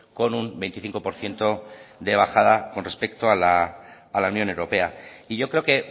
con un veinticinco por ciento de bajada con respecto a la unión europea y yo creo que